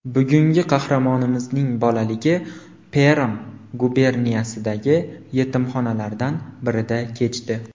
Bugungi qahramonimizning bolaligi Perm guberniyasidagi yetimxonalardan birida kechdi.